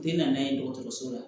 Tɛ na n'a ye dɔgɔtɔrɔso la